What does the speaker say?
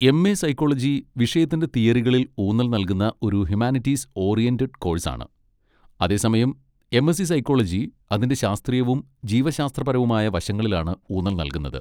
M. A psychology വിഷയത്തിൻ്റെ തീയറികളിൽ ഊന്നൽ നൽകുന്ന ഒരു ഹ്യുമാനിറ്റീസ് ഓറിയന്റഡ് കോഴ്സാണ്. അതേസമയം എം. എസ്. സി സൈക്കോളജി അതിൻ്റെ ശാസ്ത്രീയവും ജീവശാസ്ത്രപരവുമായ വശങ്ങളിലാണ് ഊന്നൽ നൽകുന്നത്.